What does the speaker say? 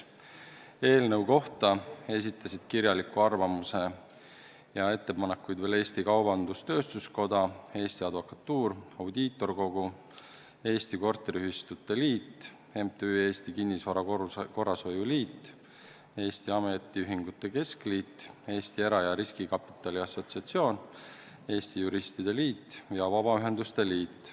Eelnõu kohta esitasid kirjaliku arvamuse ja ettepanekuid ka Eesti Kaubandus-Tööstuskoda, Eesti Advokatuur, Audiitorkogu, Eesti Korteriühistute Liit, MTÜ Eesti Kinnisvara Korrashoiu Liit, Eesti Ametiühingute Keskliit, Eesti Era- ja Riskikapitali Assosatsioon, Eesti Juristide Liit ja Eesti Vabaühenduste Liit.